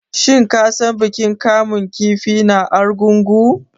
Shin ka san bikin kamun kifi na Argungu?